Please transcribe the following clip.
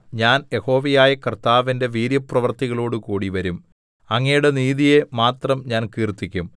ഞാൻ യഹോവയായ കർത്താവിന്റെ വീര്യപ്രവൃത്തികളോടുകൂടി വരും അങ്ങയുടെ നീതിയെ മാത്രം ഞാൻ കീർത്തിക്കും